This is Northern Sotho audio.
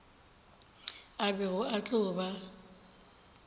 a bego a tlo ba